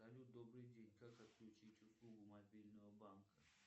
салют добрый день как отключить услугу мобильного банка